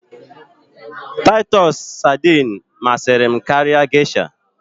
Taịtọs sardines masịrị m geisha